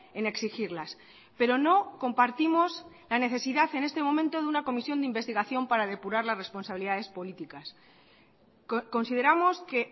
en exigirlas pero no compartimos la necesidad en este momento de una comisión de investigación para depurar las responsabilidades políticas consideramos que